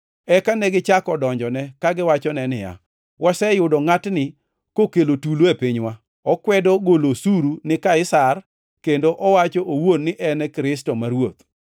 Eka negichako donjone kagiwacho niya, “Waseyudo ngʼatni kokelo tulo e pinywa. Okwedo golo osuru ni Kaisar kendo owacho owuon ni en Kristo, ma Ruoth.”